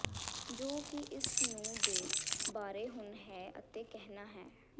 ਜੋ ਕਿ ਇਸ ਨੂੰ ਦੇ ਬਾਰੇ ਹੁਣ ਹੈ ਅਤੇ ਕਹਿਣਾ ਹੈ